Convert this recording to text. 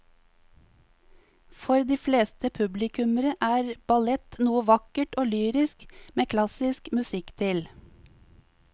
For de fleste publikummere er ballett noe vakkert og lyrisk med klassisk musikk til.